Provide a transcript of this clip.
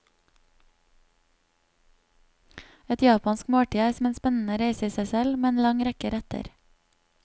Et japansk måltid er som en spennende reise i seg selv, med en lang rekke retter.